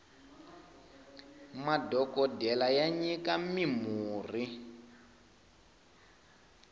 madhokodele ya nyika mi murhi